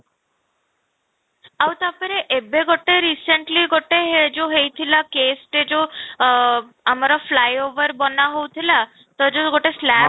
ଆଉ ତା'ପରେ ଏବେ ଗୋଟେ recently ଗୋଟେ ହେ ଯଉ ହେଉଥିଲା case ଟେ ଯଉ ଆଃ ଆମର flyover ବନା ହଉଥିଲା, ତ ଯଉ ଗୋଟେ slab ଟା